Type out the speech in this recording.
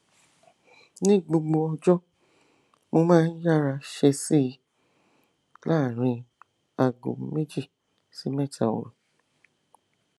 ní gbogbo ọjọ mo máa ń yára ṣèèṣì láàárín aago méjì sí méta òru